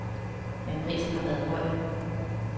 Men prisen har været høj.